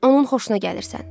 Onun xoşuna gəlirsən.